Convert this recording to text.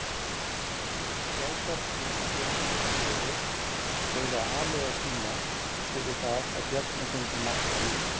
Sjálfsagt vildi fjölskylda Klöru greiða aleigu sína fyrir það að Bjarni fengi mátt á ný.